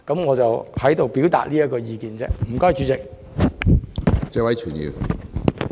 我在此表達這點意見，多謝主席。